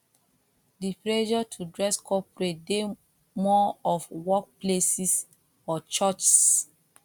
di pressure to dress corporate de more of work places or churchs